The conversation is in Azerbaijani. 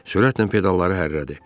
Sürətlə pedalları hərlədi.